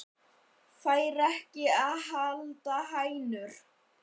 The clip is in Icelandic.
Fær ekki að halda hænur